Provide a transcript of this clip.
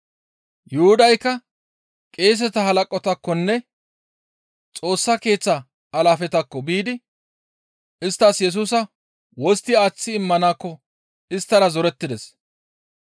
Yuhudaykka qeeseta halaqataakkonne Xoossa Keeththa alaafetakko biidi isttas Yesusa wostti aaththi immanakko isttara zorettides.